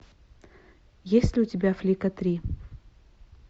есть ли у тебя флика три